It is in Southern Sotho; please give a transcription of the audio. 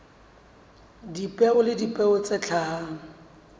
dipeo le dipeo tse hlahang